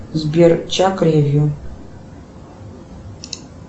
сбер чак ревью